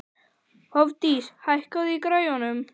Hofdís, hækkaðu í græjunum.